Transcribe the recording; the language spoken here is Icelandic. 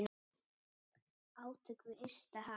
Átök við ysta haf.